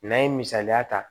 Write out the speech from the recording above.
N'an ye misaliya ta